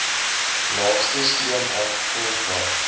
laagste stroomaf grondvlak